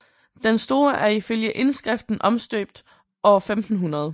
Den store er ifølge indskriften omstøbt år 1500